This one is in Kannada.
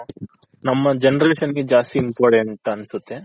Generation ಗೆ ಜಾಸ್ತಿ Important ಅನ್ಸುತ್ತೆ.